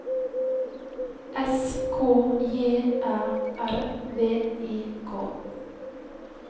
S K J Æ R V I K